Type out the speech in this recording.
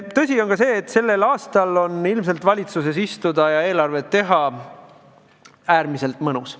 Tõsi on ka see, et tänavu on ilmselt valitsuses istuda ja eelarvet teha äärmiselt mõnus.